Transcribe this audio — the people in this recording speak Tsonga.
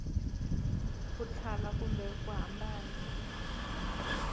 ku thala kumbe ku hambana